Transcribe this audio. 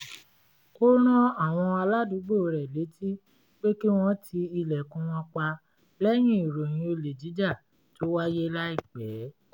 ó rán àwọn aládùúgbò rẹ̀ létí pé kí wọ́n ti ilẹ̀kùn wọn pa lẹ́yìn ìròyìn olè jíjà tó wáyé láìpẹ́